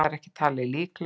Það er ekki talið líklegt.